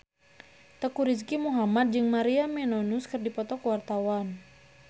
Teuku Rizky Muhammad jeung Maria Menounos keur dipoto ku wartawan